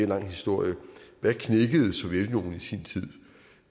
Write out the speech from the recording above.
lang historie hvad knækkede sovjetunionen i sin tid